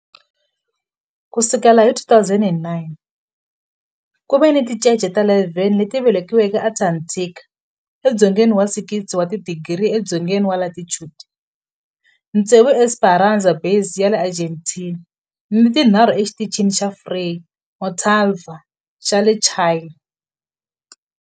Ku sukela hi 2009, ku ve ni tincece ta 11 leti velekiweke eAntarctica edzongeni wa 60 wa tidigri edzongeni wa latitude, tsevu eEsperanza Base ya le Argentina ni tinharhu eXitichini xa Frei Montalva xa le Chile.